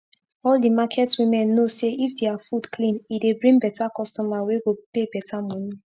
all d market women know say if dia fud clean e dey bring beta customer wey go pay beta moni